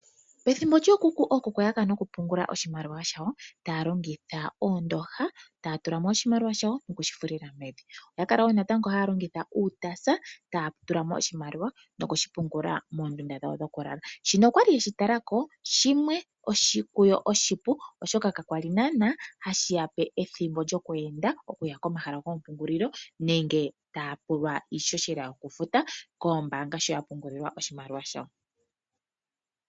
Pethimbo lyookuku, ookuku oya kala nokupungula oshimaliw ashawo taya longitha oondooha, taya tula mo oshimaliwa shawo noku shi fulila mevi. Oya kala wo natango haya longitha uutaasa taya tula mo oshimaliwa shawo nokushi pungula moondunda dhawo dhokulala. Shika oya li ye shi tala ko oshipu, oshoka kaya li naanaa hashi ya pe ethimbo lyoku enda okuya komahal agomapungulilo nenge taya pulwa iihohela yokufuta koombaanga sho ya pungulilwa oshimaliwa shawo.